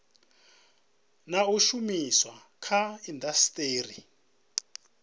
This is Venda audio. na u shumiswa kha indasiteri